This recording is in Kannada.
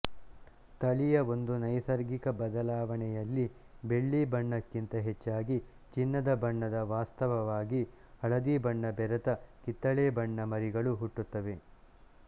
ತಳಿಯ ಒಂದು ನೈಸರ್ಗಿಕ ಬದಲಾವಣೆಯಲ್ಲಿ ಬೆಳ್ಳಿ ಬಣ್ಣಕ್ಕಿಂತ ಹೆಚ್ಚಾಗಿ ಚಿನ್ನದ ಬಣ್ಣದವಾಸ್ತವವಾಗಿ ಹಳದಿಬಣ್ಣ ಬೆರೆತ ಕಿತ್ತಳೆ ಬಣ್ಣ ಮರಿಗಳು ಹುಟ್ಟುತ್ತವೆ